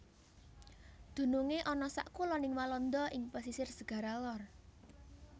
Dunungé ana sakuloning Walanda ing pesisir Segara Lor